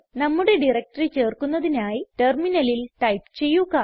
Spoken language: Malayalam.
നമ്മുടെ ഡയറക്ടറി ചേർക്കുന്നതിനായി ടെർമിനലിൽ ടൈപ്പ് ചെയ്യുക